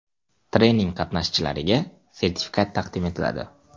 Trening qatnashchilariga sertifikat taqdim etiladi.